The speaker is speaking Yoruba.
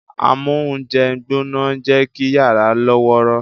Amóúnjẹgbóná ń jẹ́ kí yàrá lọ́wọ́rọ́